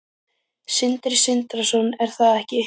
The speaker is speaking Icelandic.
Sindri Sindrason: Er það ekki?